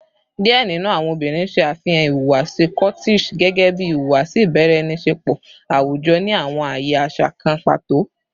Diẹ ninu awọn obinrin ṣe afihan ihuwasi coquettish gẹgẹbi ihuwasi ibaraenisepo awujọ ni awọn aaye aṣa kan pato